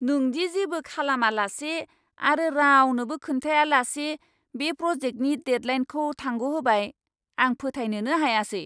नों दि जेबो खालामालासे आरो रावनोबो खोन्थायालासे बे प्र'जेक्टनि डेडलाइनखौ थांग'होबाय, आं फोथायनोनो हायासै!